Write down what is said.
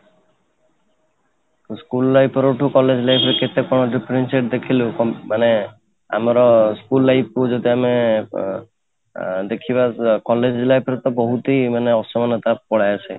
school life ପରା ଠୁ college life ରେ କେତେ କ'ଣ differentiate ଦେଖିଲୁ ମାନେ ଆମର school life କୁ ଯଦି ଆମେ ଆଁ ଦେଖିବା ତ college life ରେ ତ ବହୁତ ମାନେ ଅସମାନତା ପଳେଇଆସେ